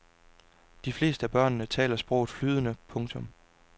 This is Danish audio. De fleste af børnene taler sproget flydende. punktum